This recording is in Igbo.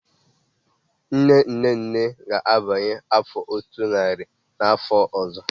Nne-nne-nne ga-agbanye afọ otu nari n'afọ ọzọ.